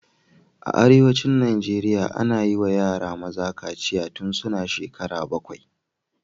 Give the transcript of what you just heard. A arewacin Najeriya, ana yi wa yara maza kaciya tun suna shekara bakwai